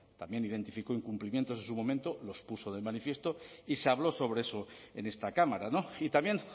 también identificó incumplimientos en su momento los puso de manifiesto y se habló sobre eso en esta cámara y también